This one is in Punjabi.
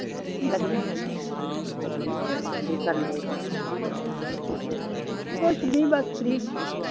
ਕੁਛ ਨੀ ਬਸ ਫ free